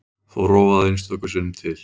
Þó rofaði einstöku sinnum til.